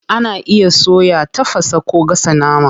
Ana iya soya, tafasa, ko gasa nama.